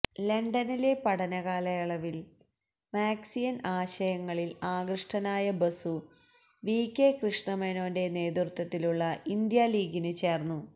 ലണ്ടനിലെ പഠനകാലയളവില് മാര്ക്സിയന് ആശയങ്ങളില് ആകൃഷ്ടനായ ബസു വികെ കൃഷ്ണമേനോന്റെ നേതൃത്വത്തിലുള്ള ഇന്ത്യാലീഗില് ചേര്ന്നു